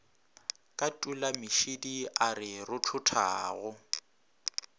ka tulamešidi a re rothothago